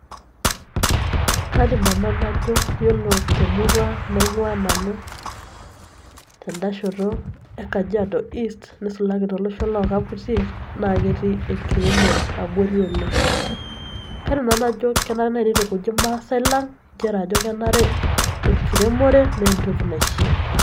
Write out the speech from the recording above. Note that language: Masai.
kaidim nanu najo yiolo temurua naing'ua nanu tenda shoto e kajiado east nisulaki tolosho lokaputiei naa ketii enkiremore abori oleng kairuk nanu najo kenare naaji nitukuji ilmaasae lang nchere ajo kenare enkiremore naa entoki naishia.